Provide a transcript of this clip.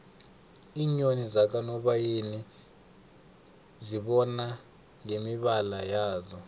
iinyoni zakanobayeni uzibona ngemibala yazo